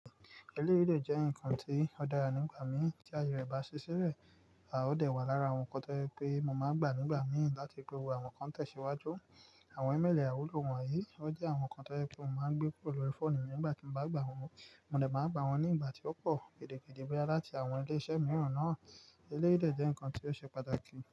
Eléyìí dẹ̀ jẹ́ nǹkan tí ó dára nígbà mí tí ayé rẹ̀ bá ṣiṣí lẹ̀, a ó dẹ wà lára àwọn nǹkan tó jẹ pé mo máa ń gbà nígbà mí láti ri pé àwọn kan tẹ̀síwájú. Àwọn ímeèlì ài wulo wọ̀nyí ó jẹ́ àwọn nǹkan tó jẹ pé mo máa ń gbé kúrò lórí fóònù mi nígbà tí mo bá gbà wọ̀n. Mo dẹ̀ máa gbà wọ́n ní ìgbà tí ó pọ̀ kèdèkèdè bóyá láti àwọn ilé-iṣẹ́ mìíràn náà. Eléyìí dẹ̀ jẹ́ nǹkan tí ó ṣe pàtàkì.